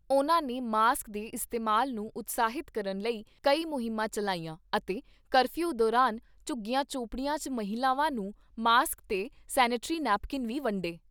ਉਨ੍ਹਾਂ ਨੇ ਮਾਸਕ ਦੇ ਇਸਤੇਮਾਲ ਨੂੰ ਉਤਸ਼ਾਹਿਤ ਕਰਨ ਲਈ ਕਈ ਮੁਹਿੰਮਾਂ ਚੱਲਾਈਆਂ ਅਤੇ ਕਰਫਿਊ ਦੌਰਾਨ ਝੁੱਗੀਆਂ ਝੌਂਪੜੀਆਂ 'ਚ ਮਹਿਲਾਵਾਂ ਨੂੰ ਮਾਸਕ ਤੇ ਸੈਨੇਟਰੀ ਨੈਪਕਿਨ ਵੀ ਵੰਡੇ।